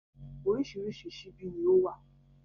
Oríṣìíríṣìí ṣíbí ni ó wà.